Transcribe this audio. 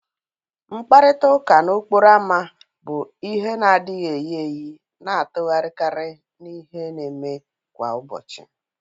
Mkparịta ụka n'okporo ámá bu ihe na adighi eyi eyi na-atụgharịkarị n'ihe na-eme kwa ụbọchị